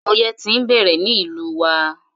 Ọyẹ́ ti ń bẹ̀rẹ̀ ní ìlú wa.